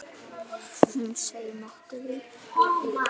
Hún seig nokkuð í.